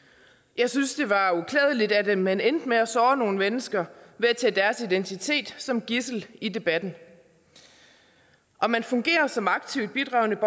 jeg synes det var uklædeligt at man endte med at såre nogle mennesker ved at tage deres identitet som gidsel i debatten om man fungerer som aktivt bidragende